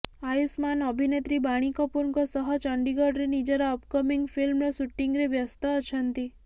ଆୟୁଷ୍ମାନ ଅଭିନେତ୍ରୀ ବାଣୀ କପୁରଙ୍କ ସହ ଚଣ୍ଡିଗଡରେ ନିଜର ଅପକମିଂ ଫିଲ୍ମର ଶୁଟିଂରେ ବ୍ୟସ୍ଥ ଅଛନ୍ତି